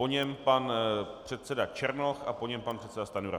Po něm pan předseda Černoch a po něm pan předseda Stanjura.